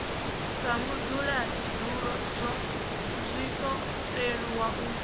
sa mudzulatshidulo zwiṱo leluwa u